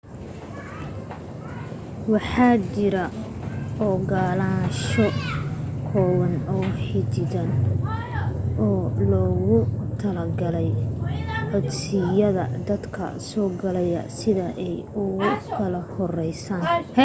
waxaa jiro ogalaansho kooban oo xadidan oo loogu talagalay codsiyada dadka soo gala sida ay u kala horeeyaan